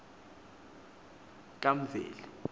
kamveli